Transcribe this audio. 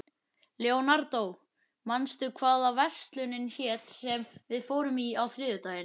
Leonardó, manstu hvað verslunin hét sem við fórum í á þriðjudaginn?